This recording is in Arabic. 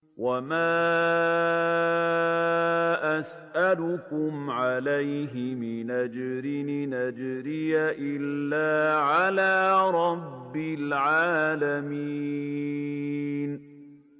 وَمَا أَسْأَلُكُمْ عَلَيْهِ مِنْ أَجْرٍ ۖ إِنْ أَجْرِيَ إِلَّا عَلَىٰ رَبِّ الْعَالَمِينَ